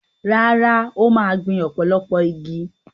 Rárá, ó máa gbìn ọ̀pọ̀lọpọ̀ igi.